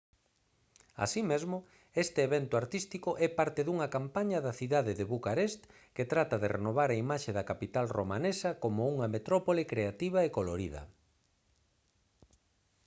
así mesmo este evento artístico é parte dunha campaña da cidade de bucarest que trata de renovar a imaxe da capital romanesa como unha metrópole creativa e colorida